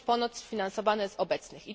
Mają być ponoć sfinansowane z obecnych.